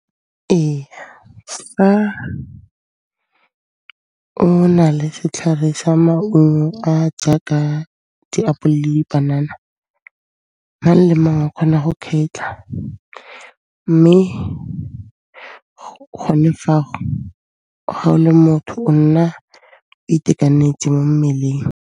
Ee, fa o na le setlhare sa maungo a jaaka diapole le dipanana, mang le mang o kgona go kgetha mme gone fago, ga o le motho o nna o itekanetse mo mmeleng.